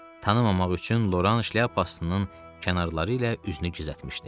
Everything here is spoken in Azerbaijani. Tanımamaq üçün Loran şlyapasının kənarları ilə üzünü gizlətmişdi.